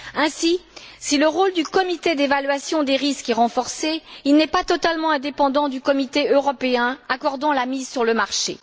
Ainsi, si le rôle du comité d'évaluation des risques est renforcé, il n'est pas totalement indépendant du comité européen accordant la mise sur le marché.